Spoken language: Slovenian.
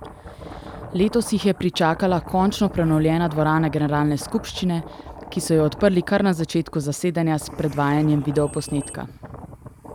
Letos jih je pričakala končno prenovljena dvorana generalne skupščine, ki so jo odprli kar na začetku zasedanja s predvajanjem videoposnetka.